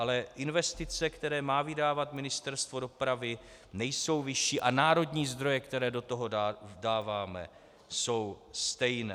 Ale investice, které má vydávat Ministerstvo dopravy, nejsou vyšší a národní zdroje, které do toho dáváme, jsou stejné.